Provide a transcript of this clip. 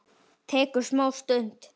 Tekur smá stund.